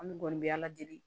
An dun kɔni bɛ ala deli